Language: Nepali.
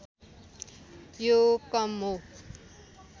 यो कम हो